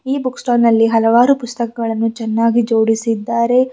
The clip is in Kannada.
ಈ ಬುಕ್ ಸ್ಟಾಲ್ ನಲ್ಲಿ ಹಲವಾರು ಪುಸ್ತಕಗಳನ್ನು ಚೆನ್ನಾಗಿ ಜೋಡಿಸಿದ್ದಾರೆ.